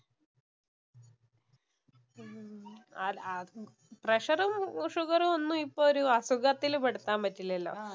പ്രഷറും, ഷുഗറും ഒന്നും ഇപ്പൊ ഒരു അസുഖത്തില്‍ പെടുത്താന്‍ പറ്റില്ലല്ലോ.